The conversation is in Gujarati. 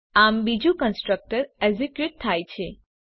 આમ બીજું કન્સ્ટ્રકટર એક્ઝેક્યુટ થાય છે